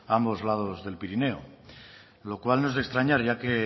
a ambos lados del pirineo lo cual no es de extrañar ya que